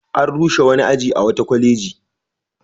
An rushe wani aji a wata kwaleji.